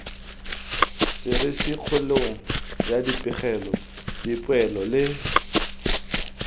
serisikgolong ya dipegelo dipoelo le